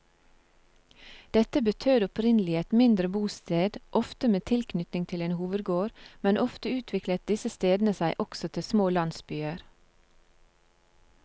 Dette betød opprinnelig et mindre bosted, ofte med tilknytning til en hovedgård, men ofte utviklet disse stedene seg også til små landsbyer.